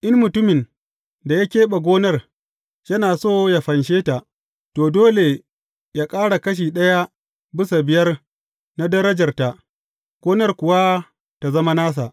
In mutumin da ya keɓe gonar, yana so yă fanshe ta, to, dole yă ƙara kashi ɗaya bisa biyar na darajarta, gonar kuwa tă zama nasa.